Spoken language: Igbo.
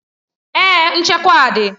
Èè, nchekwa dị.